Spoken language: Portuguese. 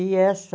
E essa...